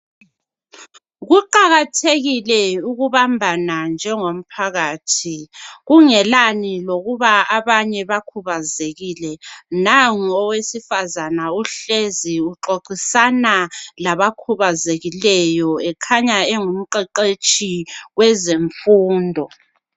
kuqhakathekile ukubambana njengomphakathi kungelani lokuba abantu bakhubazekile nangu owesifazana uhlezi uxoxisana labakhubazekileyo ekhanya engumqheqetshi kwezemfundo